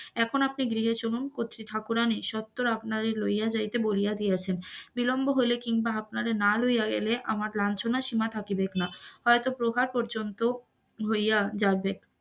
এখন আপনি গৃহে চলুন, কত্রী ঠাকুরানী সত্বর আপনারে লইয়া যাইতে বলিয়া দিয়াছেন. বিলম্ব হইলে কিনবা আপনারে না লইয়া গেলে আমার লাঞ্ছনার সীমা থাকিবেক না, হইত প্রহার পর্যন্ত হইয়া যাবে,